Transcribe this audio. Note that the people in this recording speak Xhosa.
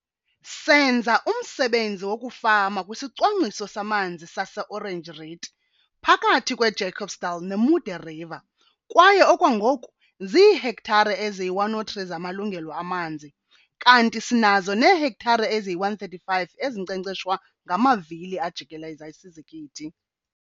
Senza umsebenzi wokufama kwisicwangciso samanzi saseOranje Riet phakathi kweJacobsdal neModderriver kwaye okwangoku ziihektare eziyi-103 zamalungelo amanzi kanti sinazo neehektare eziyi-135 ezinkcenkceshwa ngamawili ajikeleza izizikithi.